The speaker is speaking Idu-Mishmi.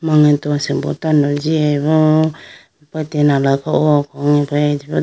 Mangeto asimbo tando jiyayi bo tina laga o po .